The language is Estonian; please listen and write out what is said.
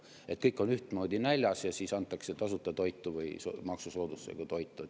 Ei ole nii, et kõik on ühtmoodi näljas ja siis antakse tasuta toitu või maksusoodustusega toitu.